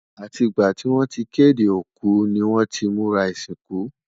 àti gbà tí wọn tí kéde òkú ní wón tí múra isinku